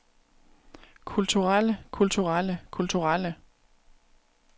kulturelle kulturelle kulturelle